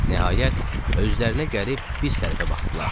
Nəhayət, özlərinə gəlib bir tərəfə baxdılar.